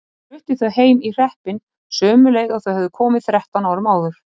Hún flutti þau heim í hreppinn, sömu leið og þau höfðu komið þrettán árum áður.